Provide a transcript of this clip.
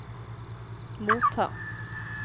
motta